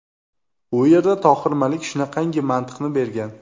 U yerda Tohir Malik shunaqangi mantiqni bergan.